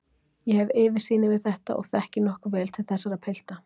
Ég hef yfirsýn yfir þetta og þekki nokkuð vel til þessara pilta.